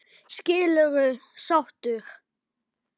Skilurðu sáttur?